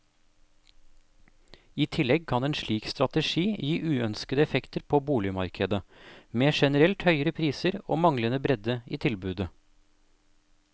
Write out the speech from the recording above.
I tillegg kan en slik strategi gi uønskede effekter på boligmarkedet, med generelt høyere priser og manglende bredde i tilbudet.